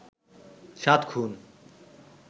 সাত খুন